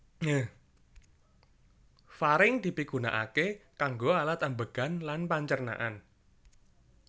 Faring dipigunaaké kanggo alat ambegan lan pancernaan